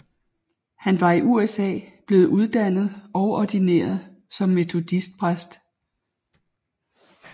Han var i USA blevet uddannet og ordineret som metodistpræst